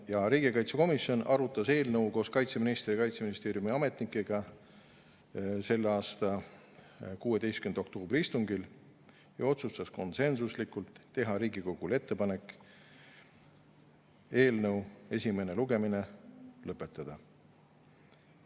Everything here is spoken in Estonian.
Riigikaitsekomisjon arutas eelnõu koos kaitseministri ja Kaitseministeeriumi ametnikega selle aasta 16. oktoobri istungil ja otsustas konsensuslikult teha Riigikogule ettepaneku eelnõu esimene lugemine lõpetada.